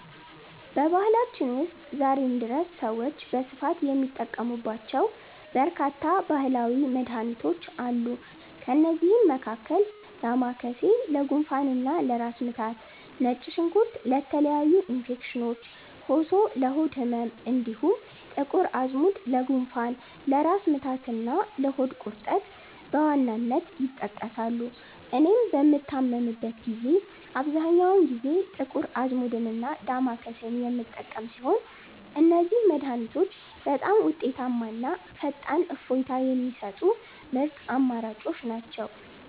በባህላችን ውስጥ ዛሬም ድረስ ሰዎች በስፋት የሚጠቀሙባቸው በርካታ ባህላዊ መድኃኒቶች አሉ። ከእነዚህም መካከል ዳማከሴ ለጉንፋንና ለራስ ምታት፣ ነጭ ሽንኩርት ለተለያዩ ኢንፌክሽኖች፣ ኮሶ ለሆድ ህመም፣ እንዲሁም ጥቁር አዝሙድ ለጉንፋን፣ ለራስ ምታትና ለሆድ ቁርጠት በዋናነት ይጠቀሳሉ። እኔም በምታመምበት ጊዜ አብዛኛውን ጊዜ ጥቁር አዝሙድና ዳማከሴን የምጠቀም ሲሆን፣ እነዚህ መድኃኒቶች በጣም ውጤታማና ፈጣን እፎይታ የሚሰጡ ምርጥ አማራጮች ናቸው።